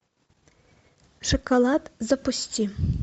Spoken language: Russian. шоколад запусти